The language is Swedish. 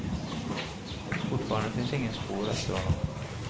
Fortfarande finns inget spår efter honom.